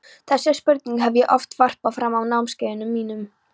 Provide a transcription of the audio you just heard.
Þessari spurningu hef ég oft varpað fram á námskeiðunum mínum.